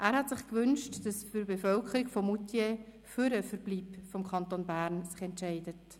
Er hätte sich gewünscht, dass sich die Bevölkerung von Moutier für den Verbleib im Kanton Bern entscheidet.